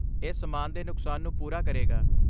ਇਹ ਸਮਾਨ ਦੇ ਨੁਕਸਾਨ ਨੂੰ ਪੂਰਾ ਕਰੇਗਾ।